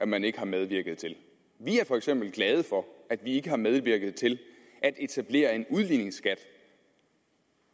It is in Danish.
man ikke har medvirket til vi er for eksempel glade for at vi ikke har medvirket til at etablere en udligningsskat